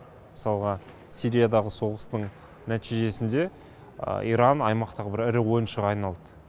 мысалға сириядағы соғыстың нәтижесінде иран аймақтағы ірі ойыншыға айналды